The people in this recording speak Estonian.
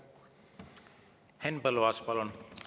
Henn Põlluaas, palun!